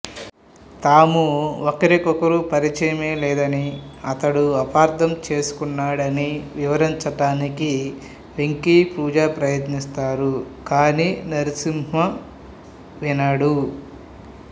తాము ఒకరికొకరు పరిచయమే లేదనీ అతడు అపార్థం చేసుకున్నాడనీ వివరించడానికి వెంకీ పూజ ప్రయత్నిస్తారు కాని నరసింహ వినడు